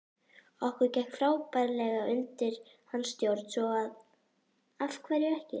Okkur gekk frábærlega undir hans stjórn svo af hverju ekki?